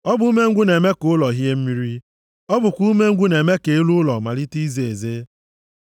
Ọ bụ umengwụ na-eme ka ụlọ hie mmiri; ọ bụkwa umengwụ na-eme ka elu ụlọ malite ize eze.